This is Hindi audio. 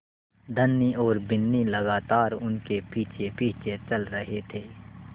धनी और बिन्नी लगातार उनके पीछेपीछे चल रहे थे